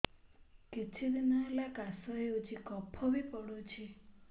କିଛି ଦିନହେଲା କାଶ ହେଉଛି କଫ ବି ପଡୁଛି